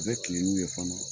U bɛ tilen n'u ye fana